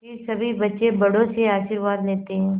फिर सभी बच्चे बड़ों से आशीर्वाद लेते हैं